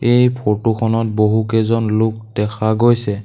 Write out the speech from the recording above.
এই ফটো খনত বহুকেইজন লোক দেখা গৈছে।